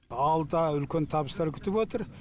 алда үлкен табыстар күтіп отыр